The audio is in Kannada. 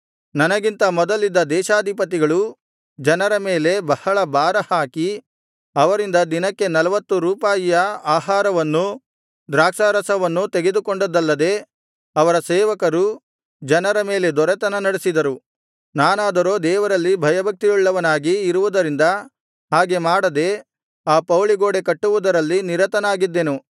ನನಗಿಂತ ಮೊದಲಿದ್ದ ದೇಶಾಧಿಪತಿಗಳು ಜನರ ಮೇಲೆ ಬಹಳ ಭಾರಹಾಕಿ ಅವರಿಂದ ದಿನಕ್ಕೆ ನಲ್ವತ್ತು ರೂಪಾಯಿಯ ಆಹಾರವನ್ನೂ ದ್ರಾಕ್ಷಾರಸವನ್ನೂ ತೆಗೆದುಕೊಂಡದ್ದಲ್ಲದೆ ಅವರ ಸೇವಕರೂ ಜನರ ಮೇಲೆ ದೊರೆತನ ನಡೆಸಿದರು ನಾನಾದರೋ ದೇವರಲ್ಲಿ ಭಯಭಕ್ತಿಯುಳ್ಳವನಾಗಿ ಇರುವುದರಿಂದ ಹಾಗೆ ಮಾಡದೆ ಆ ಪೌಳಿಗೋಡೆ ಕಟ್ಟುವುದರಲ್ಲಿ ನಿರತನಾಗಿದ್ದೆನು